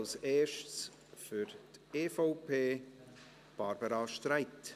Als Erstes für die EVP: Barbara Streit.